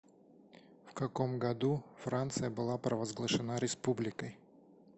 в каком году франция была провозглашена республикой